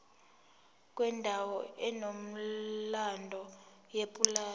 kwendawo enomlando yepulazi